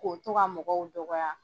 K'o to ka mɔgɔw dɔgɔya.